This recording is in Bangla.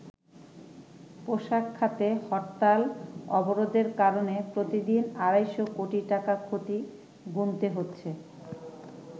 পোশাক খাতে হরতাল-অবরোধের কারনে প্রতিদিন আড়াইশো কোটি টাকা ক্ষতি গুনতে হচ্ছে।